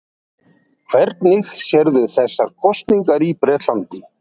Hvernig sérðu þessar kosningar í Bretlandi?